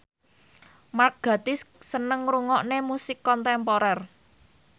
Mark Gatiss seneng ngrungokne musik kontemporer